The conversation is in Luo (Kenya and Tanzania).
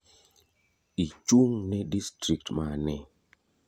Ichung' ne distrikt mane?